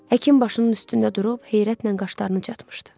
Həkim başının üstündə durub heyrətlə qaşlarını çatmışdı.